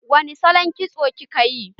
Wani salon kitso kika yi?